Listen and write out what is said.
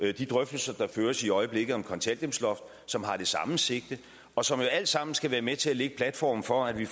og de drøftelser der føres i øjeblikket om et kontanthjælpsloft som har det samme sigte og som jo alt sammen skal være med til at lægge platformen for at vi